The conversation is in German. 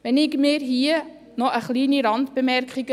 Ich erlaube mir hier noch eine kleine Randbemerkung: